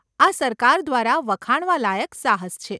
આ સરકાર દ્વારા વખાણવા લાયક સાહસ છે.